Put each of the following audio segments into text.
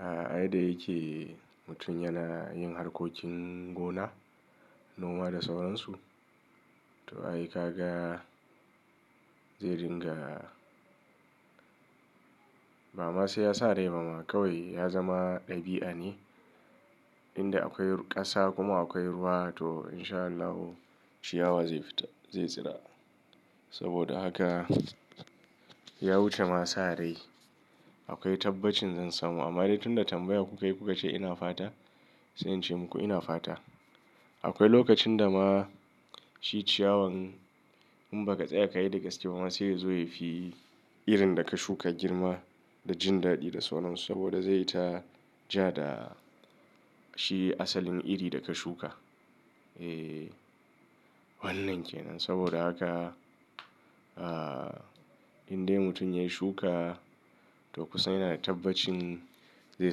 A yada yake mutum yana yin harkokin gona, noma da sauransu. To ai, kaga zai ringa, bama sai yasa rai bama kawai ya zama ɗabi'a ne. Inda akwai ƙasa kuma akwai ruwa to insha Allahu ciyawa zai fita, zai tsira. Saboda haka ya wucema sa rai. Akwai tabbacin zan samu amma dai tunda tambaya kuka yi kuka ce ina fata sai ince muku ina fata. Akwai lokacin da ma shi ciyawan in baka tsaya kayi gaskiya bama sai yazo yafi irinda kashuka girma da jindaɗi da sauransu. Saboda zaita ja da shi asalin iri da ka shuka. E, wannan kenan. Saboda haka, ah, indai mutum ya shuka to kusan yanada tabbacin zai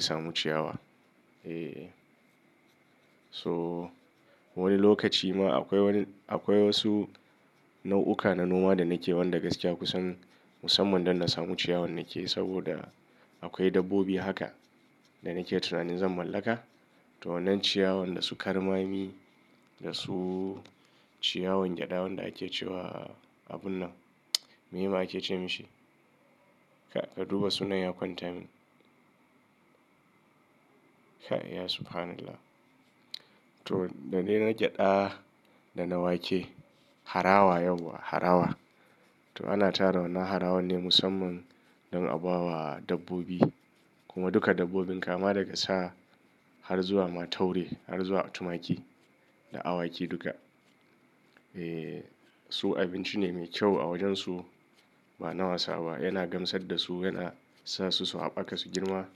samu ciyawa. E, so wani lokaci ma akwai wani, akwai wasu nau'uka na noma da nake wanda gaskiya kusan musamman dan nasamu ciyawan nake. Saboda akwai dabbobi haka da nake tunanin zan mallaka. To wannan ciyawan da su karmami da su ciyawan gyada wanda ake cewa abunnan, me ake ce mashi? Ka duba sunan ya kwanta min. Ya subhanallah. To da dae na gyada da na wake harawa yauwa harawa. To ana tara wannan harawa ne musamman don a bawa dabbobi kuma duka dabbobin kama daga sa har zuwa ma taure har zuwa tumaki da awaki duka. E, su abinci ne mai kyau a wajensu. Ba na wasa ba. Yana gamsar da su yana sa su su haɓaka su girma.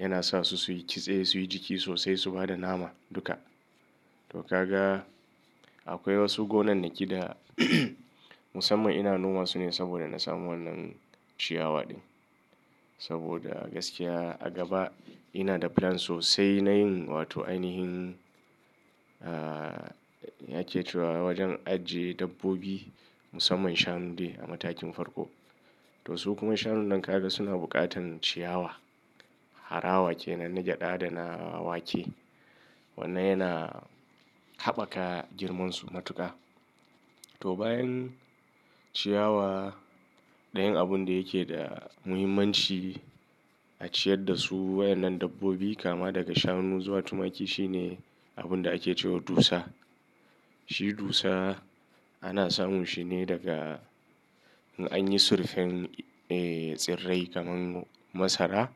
Yana sasu suyi kitse suyi jiki sosai su bada nama duka. To kaga akwai wasu gonan naki da musamman ina noma su ne saboda na samu wannan ciyawa ɗin. Saboda gaskiya a gaba inada plan sosai nayin wato ainihin, ah, yake cewa wajen ajiye dabbobi musamman shanu ne a matakin farko. To su kuma shanun nan ka ga suna buƙatan ciyawa. Harawa kenan na gyada da na wake. Wannan yana haɓaka girmansu matuka. To bayan ciyawa, ɗayan abun da yake da muhimmanci a ciyar dasu waɗannan dabbobi kama daga shanu zuwa tumaki shine abunda ake cewa dusa. Shi dusa ana samun shine daga in anyi surfen, e, tsirrai kamar masara,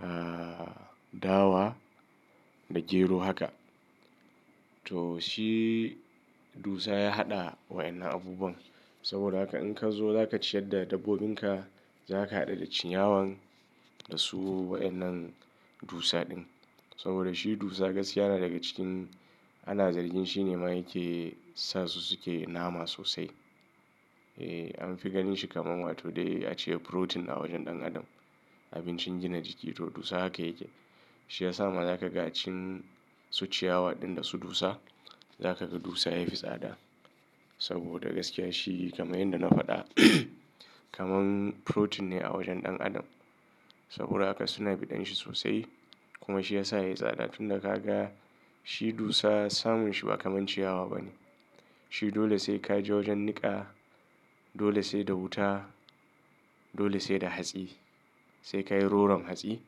ah, dawa da gero haka. To shi dusa ya haɗa waɗannan abubuwan. Saboda haka in ka zo zaka ciyar da dabbobinka zaka haɗa da ciyawan da su waɗannan dusa ɗin. Saboda shi dusa gaskiya yana daga cikin ana zargin shine ma yake sa su suke nama sosai. E, anfi ganin shi kamar wato dai a ce protein a wajen ɗan adam. Abincin gina jiki to dusa haka yake. Shiyasa ma zakaga cin su ciyawa ɗin dasu dusa zakaga dusa yafi tsada. Saboda gaskiya shi kamar yadda na faɗa, kamar protein ne a wajen ɗan adam. Saboda haka suna biɗan shi sosai kuma shiyasa yayi tsada. Tunda kaga shi dusa samunshi ba kamar ciyawa bane. Shi dole sai kaje wajen niƙa, dole sai da wuta, dole sai da hatsi. Sai ka yi roram hatsi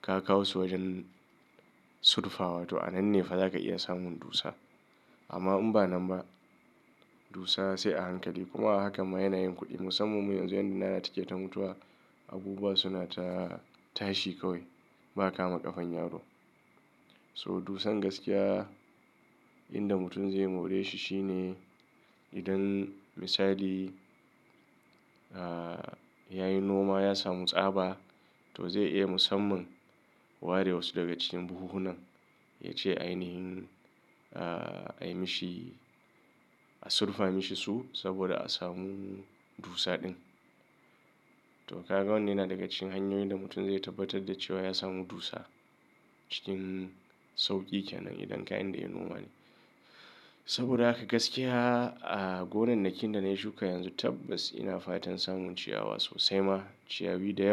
ka kawo su wajen surfawa to anan ne fa zaka iya samun dusa. Amma in ba nan ba dusa sai a hankali. Kuma haka ma yana yin kuɗi musamman mu yanzu inda yana suke ta mutuwa abubuwa suna ta tashi kawai ba kama ƙafan yaro. So dusan gaskiya inda mutum zai more shi shine idan misali, ah, yayi noma ya samu tsaba to zai iya musamman ware wasu daga cikin buhunan ya ce ainihin, ah, a yi mashi a surfa mashi su saboda a samu dusa ɗin. To kaga wannan yana daga cikin hanyoyin da mutum zai tabbatar da cewa ya samu dusa cikin sauƙi kenan idan kayanda ya noma ne. Saboda haka gaskiya, ah, gonan nake da na yi shuka yanzu tabbas ina fatan samun ciyawa sosai ma. Ciyawi da yawa.